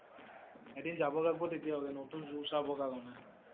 এদিন যাব লাগিব তেতিয়া হলে নতুন zoo চাব কাৰণে ।